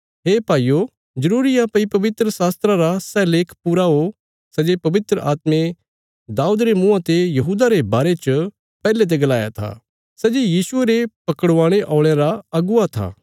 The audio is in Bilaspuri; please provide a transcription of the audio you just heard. हे भाईयो जरूरी आ भई पवित्रशास्त्रा रा सै लेख पूरा हो सै जे पवित्र आत्मे दाऊद रे मुँआं ते यहूदा रे बारे च पैहले ते गलाया था सै जे यीशुये रे पकड़वाणे औल़यां रा अगुवा था